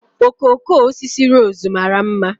Okooko osisi rose mara mma